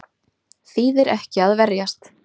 Þýðir ekki að verjast